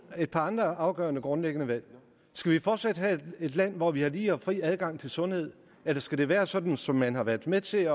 et par andre afgørende og grundlæggende valg skal vi fortsat have et land hvor vi har lige og fri adgang til sundhed eller skal det være sådan som man har været med til